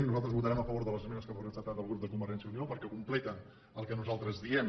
nosaltres votarem a favor de les esmenes que ha presentat el grup de convergència i unió perquè completen el que nosaltres diem